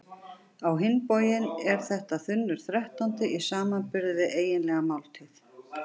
Á hinn bóginn er þetta þunnur þrettándi í samanburði við eiginlega máltíð.